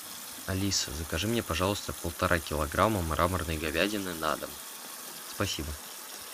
алиса закажи мне пожалуйста полтора килограмма мраморной говядины на дом спасибо